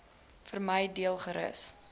vermy deel gerus